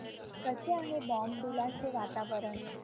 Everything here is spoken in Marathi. कसे आहे बॉमडिला चे वातावरण